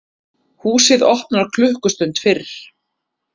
Húsið opnar klukkustund fyrr